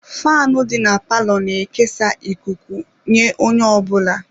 Faanụ dị na palọ na-ekesa ikuku nye onye ọbụla.